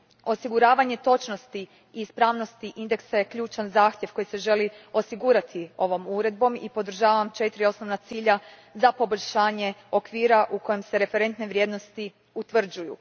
Osiguravanje točnosti i ispravnosti indeksa je ključan zahtjev koji se želi osigurati ovom uredbom i podržavam četiri osnovna cilja za poboljšanje okvira u kojem se referentne vrijednosti utvrđuju.